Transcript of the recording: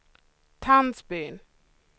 Tandsbyn